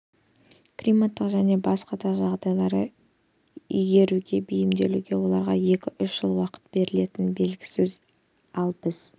климаттық және басқа да жағдайларды игеруге бейімделуге оларға екі-үш жыл уақыт берілетінін білесіз ал бізге